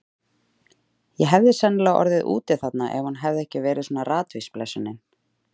Ég hefði sennilega orðið úti þarna ef hún hefði ekki verið svona ratvís, blessunin.